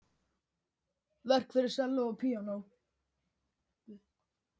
Verk fyrir selló og píanó.